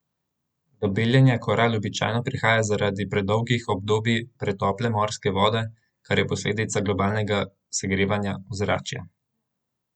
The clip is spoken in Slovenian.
Do beljenja koral običajno prihaja zaradi predolgih obdobij pretople morske vode, kar je posledica globalnega segrevanja ozračja.